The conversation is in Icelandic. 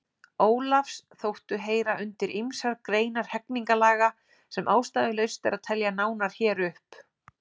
Ólafs þóttu heyra undir ýmsar greinar hegningarlaga sem ástæðulaust er að telja nánar hér upp.